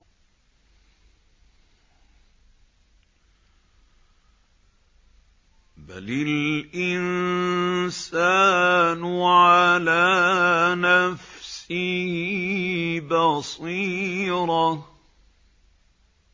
بَلِ الْإِنسَانُ عَلَىٰ نَفْسِهِ بَصِيرَةٌ